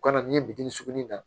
U kana n'i ye bitinin sugunin na